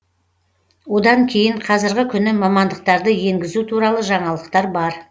одан кейін қазіргі күні мамандықтарды енгізу туралы жаңалықтар бар